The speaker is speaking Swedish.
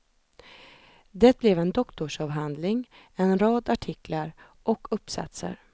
Det blev en doktorsavhandling, en rad artiklar och uppsatser.